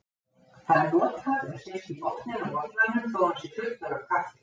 Það er notað ef sést í botninn á bollanum þótt hann sé fullur af kaffi.